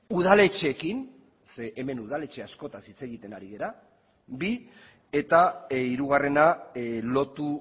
udaletxeekin zeren hemen udaletxe askotaz hitz egiten ari gara bi eta hirugarrena lotu